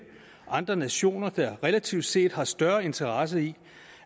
andre nationer der relativt set har større interesse i